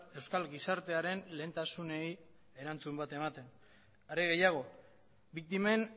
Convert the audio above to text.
euskal gizartearen lehentasunei erantzun bat ematen are gehiago biktimen